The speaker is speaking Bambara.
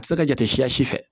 A bɛ se ka kɛ jate siya si fɛ